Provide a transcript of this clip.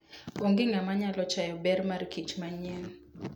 Onge ng'ama nyalo chayo ber markich manyien.